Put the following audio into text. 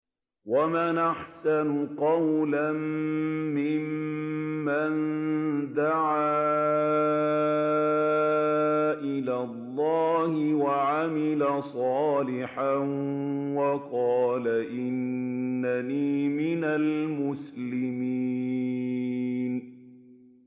وَمَنْ أَحْسَنُ قَوْلًا مِّمَّن دَعَا إِلَى اللَّهِ وَعَمِلَ صَالِحًا وَقَالَ إِنَّنِي مِنَ الْمُسْلِمِينَ